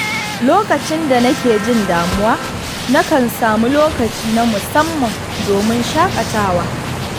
Lokacin da nake jin damuwa, nakan samu lokaci na musamman domin shaƙatawa.